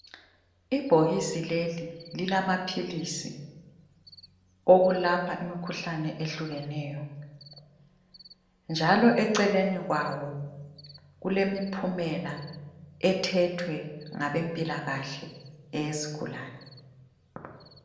Ibhokisi leli lilamaphilisi okulapha imikhuhlane ehlukeneyo njalo eceleni kwawo kulemiphumela ethethwe ngabempilakahle eyesigulane.